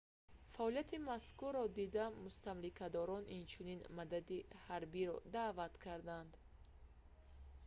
фаъолияти мазкурро дида мустамликадорон инчунин мадади ҳарбиро даъват карданд